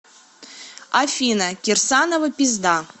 афина кирсанова пизда